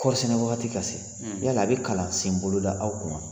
Kɔɔri sɛnɛ wagati ka se yala a bɛ kalansenbolo da aw kun wa?